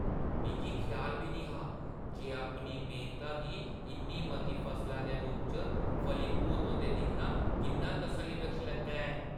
मिगी ख्याल बी नेईं हा जे अपनी मेह्‌नता गी इन्नी मती फसला दे रूपै च फलीभूत होंदे दिक्खना किन्ना तसल्लीबख्श लगदा ऐ।